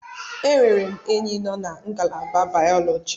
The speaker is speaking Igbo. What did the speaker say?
Enwere m enyi na ngalaba bayoloji.